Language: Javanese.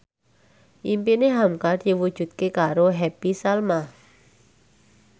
impine hamka diwujudke karo Happy Salma